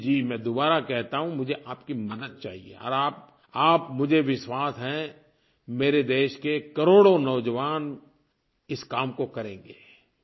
जीजीजी मैं दुबारा कहता हूँ मुझे आपकी मदद चाहिए और आप आप मुझे विश्वास है मेरे देश के करोड़ों नौजवान इस काम को करेंगे